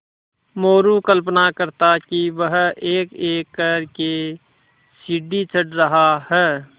मोरू कल्पना करता कि वह एकएक कर के सीढ़ी चढ़ रहा है